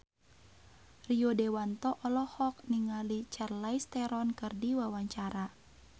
Rio Dewanto olohok ningali Charlize Theron keur diwawancara